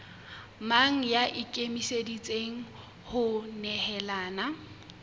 mang ya ikemiseditseng ho nehelana